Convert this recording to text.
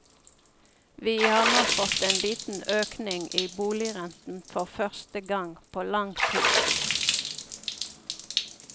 Vi har nå fått en liten økning i boligrenten for første gang på lang tid.